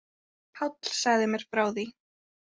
Páll sagði mér frá því.